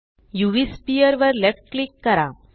उव स्फियर वर left click करा